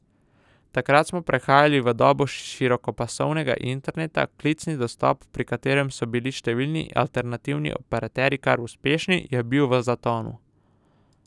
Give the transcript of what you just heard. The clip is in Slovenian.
Takrat smo prehajali v dobo širokopasovnega interneta, klicni dostop, pri katerem so bili številni alternativni operaterji kar uspešni, je bil v zatonu.